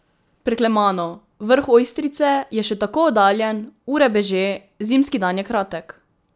Preklemano, vrh Ojstrice je še tako oddaljen, ure beže, zimski dan je kratek.